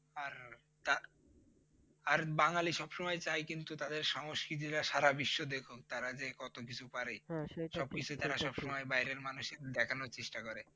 আর বাঙালি সবসময় চায় কিন্তু তাদের সংস্কৃতিটা সারা বিশ্ব দেখুক তারা যে কতকিছু পারে সবসময় বাইরের মানুষকে দেখানোর চেষ্টা করে।